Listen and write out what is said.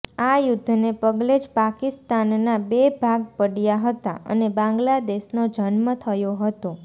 આ યુદ્ધને પગલે જ પાકિસ્તાનના બે ભાગ પડ્યા હતા અને બાંગ્લાદેશનો જન્મ થયો હતો